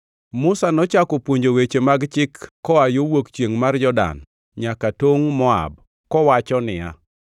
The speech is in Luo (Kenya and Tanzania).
Musa nochako puonjo weche mag chik koa yo wuok chiengʼ mar Jordan nyaka tongʼ Moab kowachona niya,